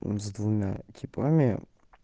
за двумя типами